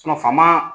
faama